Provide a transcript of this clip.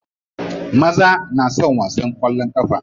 Maza na son wasan kwallon kafa.